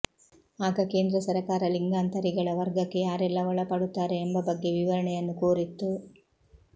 ಆಗ ಕೇಂದ್ರ ಸರಕಾರ ಲಿಂಗಾಂತರಿಗಳ ವರ್ಗಕ್ಕೆ ಯಾರೆಲ್ಲ ಒಳಪಡುತ್ತಾರೆ ಎಂಬ ಬಗ್ಗೆ ವಿವರಣೆಯನ್ನು ಕೋರಿತ್ತು